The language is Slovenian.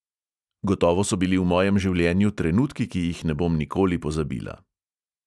Gotovo so bili v mojem življenju trenutki, ki jih ne bom nikoli pozabila.